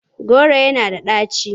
Kolanut is bitter.